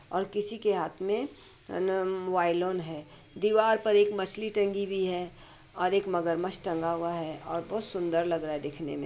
हर किसी के हाथ में वाईलोन है। दीवार पर एक मछली टंगी हुई है और एक मगरमच्छ टंगा हुआ है। और बहुत सुन्दर लग रहा है देखने में।